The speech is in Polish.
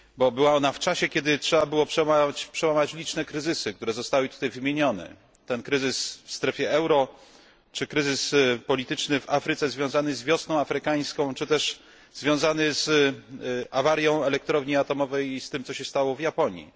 Wypadła ona w czasie, kiedy trzeba było przełamać liczne kryzysy, które zostały tutaj wymienione kryzys w strefie euro czy kryzys polityczny w Afryce związany z wiosną arabska, czy też związany z awarią elektrowni atomowej i z tym, co stało się w Japonii.